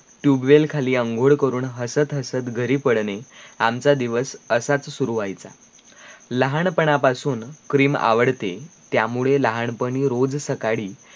TUBEWELL खाली आंघोड करून हसत हसत घरी पडणे आमचा दिवस असाच शुरू व्हायचा लहानपणा पास CREAM आवडते त्या मुळे लहानपणी रोज सकाळी